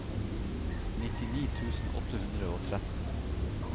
nittini tusen åtte hundre og tretten